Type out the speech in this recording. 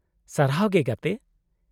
-ᱥᱟᱨᱦᱟᱨ ᱜᱮ ᱜᱟᱛᱮ ᱾